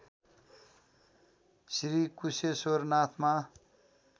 Shri Kusheshwar नाथमा